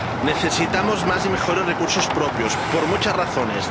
Necesitamos más y mejores recursos propios por muchas razones.